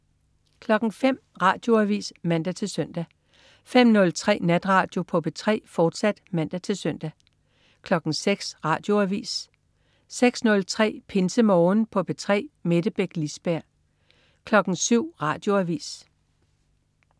05.00 Radioavis (man-søn) 05.03 Natradio på P3, fortsat (man-søn) 06.00 Radioavis 06.03 PinseMorgen på P3. Mette Beck Lisberg 07.00 Radioavis